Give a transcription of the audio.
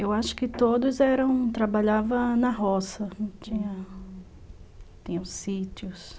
Eu acho que todos eram... trabalhavam na roça, ah... tinham sítios.